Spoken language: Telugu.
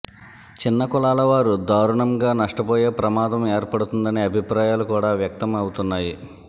చిన్న కులాల వారు దారుణంగా నష్టపోయే ప్రమాదం ఏర్పడుతుందనే అభిప్రాయాలు కూడా వ్యక్తం అవుతున్నాయి